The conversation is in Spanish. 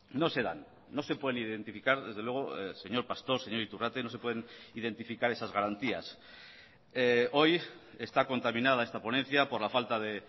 no se dan no se pueden identificar desde luego señor pastor señor iturrate no se pueden identificar esas garantías hoy está contaminada esta ponencia por la falta de